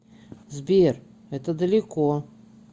сбер это далеко